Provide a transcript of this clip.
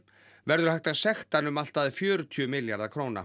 verður hægt að sekta hann um allt að fjörutíu milljarða króna